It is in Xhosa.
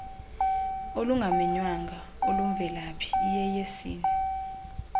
olungamenywanga olumvelaphi iyeyesini